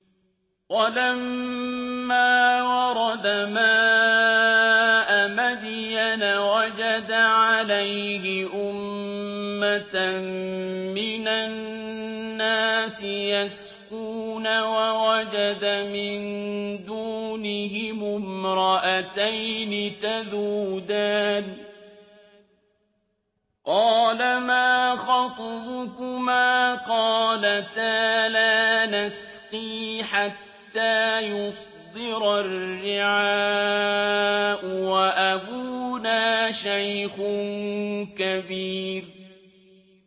وَلَمَّا وَرَدَ مَاءَ مَدْيَنَ وَجَدَ عَلَيْهِ أُمَّةً مِّنَ النَّاسِ يَسْقُونَ وَوَجَدَ مِن دُونِهِمُ امْرَأَتَيْنِ تَذُودَانِ ۖ قَالَ مَا خَطْبُكُمَا ۖ قَالَتَا لَا نَسْقِي حَتَّىٰ يُصْدِرَ الرِّعَاءُ ۖ وَأَبُونَا شَيْخٌ كَبِيرٌ